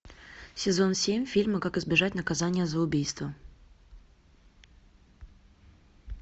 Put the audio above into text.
сезон семь фильма как избежать наказания за убийство